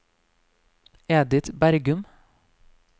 Edith Bergum